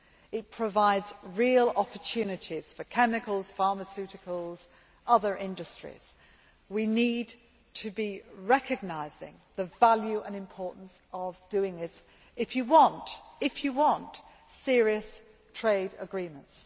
It provides real opportunities for chemicals, pharmaceuticals, other industries. We need to recognise the value and importance of doing this if we want serious trade agreements.